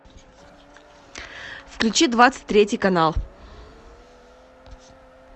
включи двадцать третий канал